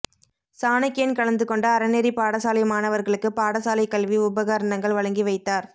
சாணக்கியன் கலந்து கொண்டு அறநெறி பாடசாலை மாணவர்களுக்கு பாடசாலை கல்வி உபகரணங்கள் வழங்கி வைத்தார்